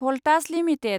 Voltas limited